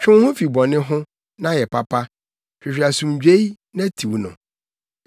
Twe wo ho fi bɔne ho, na yɛ papa; hwehwɛ asomdwoe na tiw no.